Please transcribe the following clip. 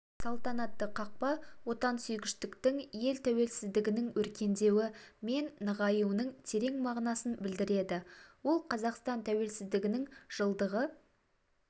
салтанатты қақпа отансүйгіштіктің ел тәуелсіздігінің өркендеуі мен нығаюының терең мағынасын білдіреді ол қазақстан тәуелсіздігінің жылдығы